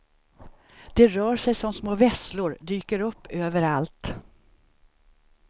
De rör sig som små vesslor, dyker upp överallt.